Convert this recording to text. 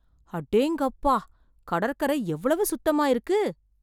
அடேங்கப்பா. கடற்கரை எவ்வளவு சுத்தமா இருக்கு.